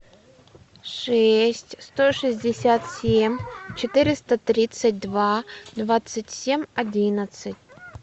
шесть сто шестьдесят семь четыреста тридцать два двадцать семь одиннадцать